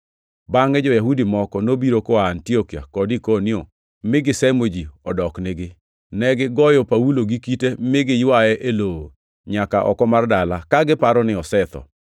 Bangʼe jo-Yahudi moko nobiro koa Antiokia kod Ikonio mi gisemo ji odoknigi. Negigoyo Paulo gi kite mi giywaye e lowo nyaka oko mar dala, ka giparo ni osetho.